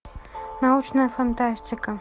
научная фантастика